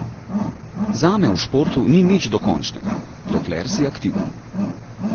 Zame v športu ni nič dokončnega, dokler si aktiven.